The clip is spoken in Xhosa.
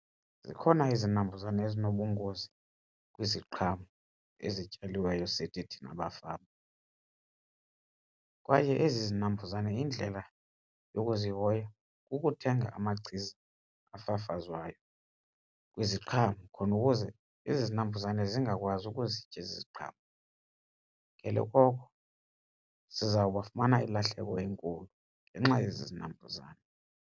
Zikhona izinambuzane ezinobungozi kwiziqhamo ezityaliweyo sithi thina bafama kwaye ezi zinambuzane indlela yokuzihoya kukuthenga amachiza afafazwayo kwiziqhamo khona ukuze ezi zinambuzane zingakwazi ukuzitya ezi ziqhamo. Ngelo koko sizawuba fumana ilahleko enkulu ngenxa yezi zinambuzane.